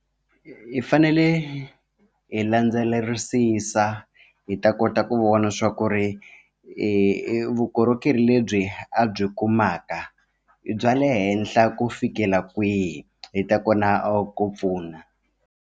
Hi fanele hi landzelerisisa hi ta kota ku vona swa ku ri vukorhokeri lebyi a byi kumaka i bya le henhla ku fikela kwihi hi ta kona a ku pfuna.